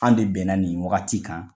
An de bɛnna nin wagati kan